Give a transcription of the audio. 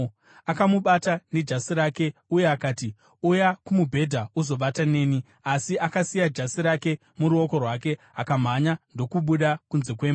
Akamubata nejasi rake uye akati, “Uya kumubhedha uzovata neni!” Asi akasiya jasi rake muruoko rwake akamhanya ndokubuda kunze kwemba.